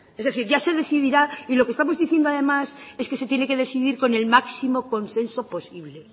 es decir ya se decidirá y lo que estamos diciendo además es que se tiene que decidir con el máximo consenso posible